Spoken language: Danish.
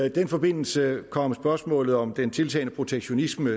i den forbindelse kom spørgsmålet om den tiltagende protektionisme